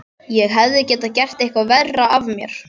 Ég hefði getað gert eitthvað verra af mér.